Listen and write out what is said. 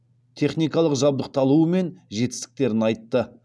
техникалық жабдықталуы мен жетістіктерін айтты